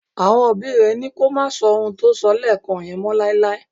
Àwọn òbí rẹ̀ ní kó má sọ ohun tó sọ lẹ́ẹ́ẹ̀kàn yẹn mọ́ láéláé.